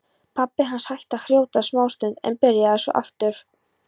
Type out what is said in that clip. Pabbi hans hætti að hrjóta smástund en byrjaði svo aftur.